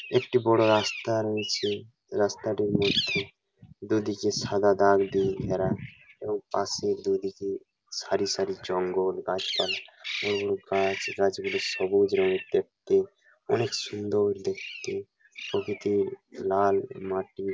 একটি বড় রাস্তা রয়েছে রাস্তাটির মধ্যে দুদিকে সাদা দাগ দিয়ে ঘেরা এবং পাশের দুদিকে সারি সারি জঙ্গল গাছপালা। বড় বড় গাছ গাছগুলো সবুজ রঙের দেখতে। অনেক সুন্দর দেখতে প্রকৃতির লাল মাটি।